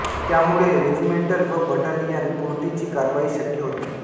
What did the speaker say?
त्यामुळे रेजिमेंटल व बटालियन पुरतीच कारवाई शक्य होती